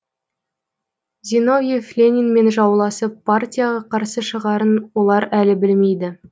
зиновьев ленинмен жауласып партияға қарсы шығарын олар әлі білмейді